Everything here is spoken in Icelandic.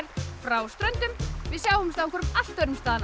frá Ströndum við sjáumst á einhverjum allt öðrum stað næst